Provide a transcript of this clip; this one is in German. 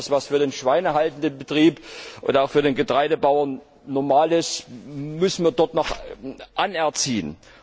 Das, was für den schweinehaltenden Betrieb oder auch für den Getreidebauern normal ist, müssen wir dort noch anerziehen.